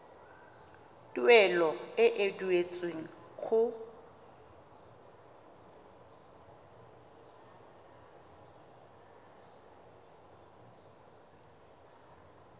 tuelo e e duetsweng go